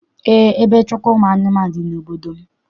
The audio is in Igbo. Eé, ebe nchekwa ụmụ anụmanụ dị n'obodo m.